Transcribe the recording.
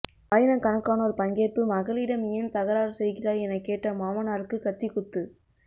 ஆயிரக்கணக்கானோர் பங்கேற்பு மகளிடம் ஏன் தகராறு செய்கிறாய் என கேட்ட மாமனாருக்கு கத்திக்குத்து